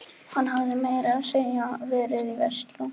Hann hafði meira að segja verið í Versló.